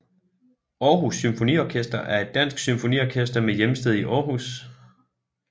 Aarhus Symfoniorkester er et dansk symfoniorkester med hjemsted i Aarhus